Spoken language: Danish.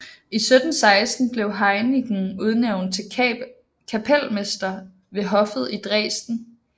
I 1716 blev Heinichen udnævnt til kapelmester ved hoffet i Dresden